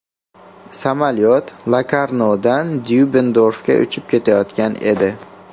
Samolyot Lokarnodan Dyubendorfga uchib ketayotgan edi.